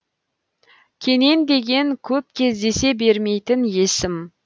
кенен деген көп кездесе бермейтін есім